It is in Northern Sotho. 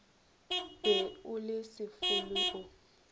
be o le sefolo o